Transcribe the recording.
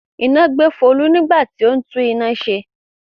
Iná gbé Folú nígbà tí ó ń tú iná rẹ̀ ṣe.